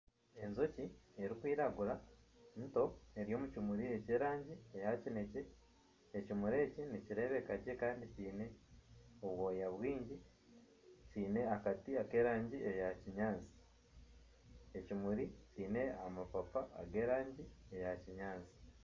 Enjoki erikwiragura ento eri omu kimuri ekyerangi eya kinekye. Ekimuri eki nikirebeka gye Kandi kiine obwoya bwingi. Kiine akati k'erangi eya kinyaatsi. Ekimuri kiine amapapa ag'erangi eya kinyaatsi.